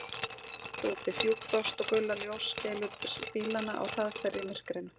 Allt var óbreytt úti: fjúk, frost og gular ljóskeilur bílanna á hraðferð í myrkrinu.